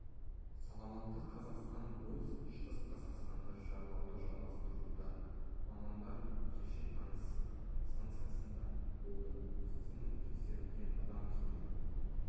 саламатты қазақстан пойызы шығыс қазақстанды шарлауды жалғастыруда мамандар кеше таңсық станциясында болды медициналық тексеруге адам келді